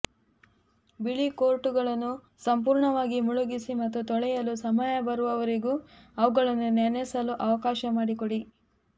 ಬಿಳಿ ಕೋಟುಗಳನ್ನು ಸಂಪೂರ್ಣವಾಗಿ ಮುಳುಗಿಸಿ ಮತ್ತು ತೊಳೆಯಲು ಸಮಯ ಬರುವವರೆಗೂ ಅವುಗಳನ್ನು ನೆನೆಸಲು ಅವಕಾಶ ಮಾಡಿಕೊಡಿ